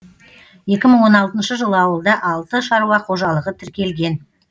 екі мың он алтыншы жылы ауылда алты шаруа қожалығы тіркелген